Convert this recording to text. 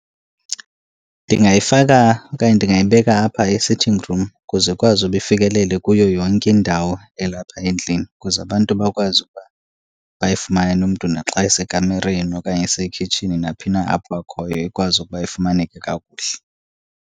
Ndingayifaka okanye ndingayibeka apha e-sitting room ukuze ikwazi uba ifikelele kuyo yonke indawo elapha endlini, ukuze abantu bakwazi ukuba bayifumane umntu naxa esekamireni okanye asekhitshini. Naphi na apho akhoyo ikwazi ukuba ifumaneke kakuhle.